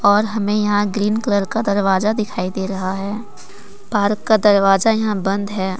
और हमें यहां ग्रीन कलर का दरवाजा दिखाई दे रहा है भारत का दरवाजा यहां बंद है।